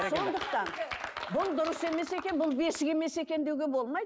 сондықтан бұл дұрыс емес екен бұл бесік емес екен деуге болмайды